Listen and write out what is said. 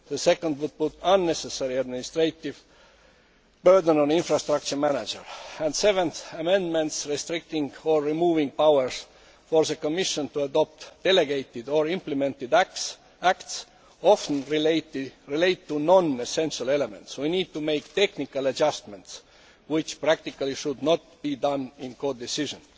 the second would put an unnecessary administrative burden on infrastructure managers. Seventhly, amendments restricting or removing powers for the Commission to adopt delegated or implementing acts often relate to non essential elements. We need to make technical adjustments which practically should not be done in co decision.